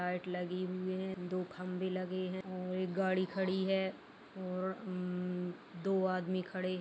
light लगी हुई है दो खम्बे लगे हैं और एक गाड़ी खड़ी है और उम्म दो आदमी खड़े --